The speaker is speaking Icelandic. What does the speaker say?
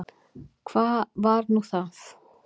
Hvað var nú það?